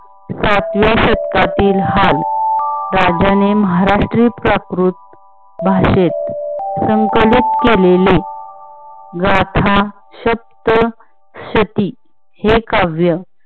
सातव्या शतकातील हाल राज्याने महाराष्ट्री प्राकृत भाषेत संकलित केलेले गाथा सप्त शती हे काव्य